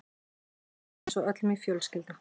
Ég grét bara eins og öll mín fjölskylda.